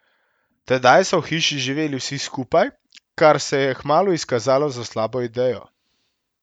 Tedaj so v hiši živeli vsi skupaj, kar se je kmalu izkazalo za slabo idejo.